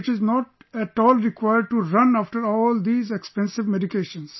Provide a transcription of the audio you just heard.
And it is not at all required to run after all these expensive medications